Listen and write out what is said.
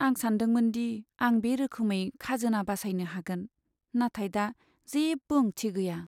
आं सानदोंमोन दि आं बे रोखोमै खाजोना बासायनो हागोन, नाथाय दा जेबो ओंथि गैया।